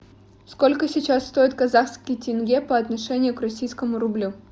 сколько сейчас стоит казахский тенге по отношению к российскому рублю